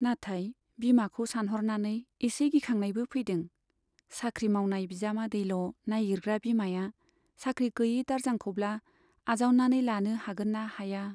नाथाय बिमाखौ सानहरनानै एसे गिखांनायबो फैदों, साख्रि मावनाय बिजामादैल' नाइगिरग्रा बिमाया साख्रि गैयै दारजांखौब्ला आजावनानै लानो हागोन ना हाया !